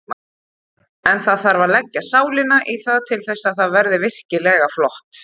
En það þarf að leggja sálina í það til þess að það verði virkilega flott.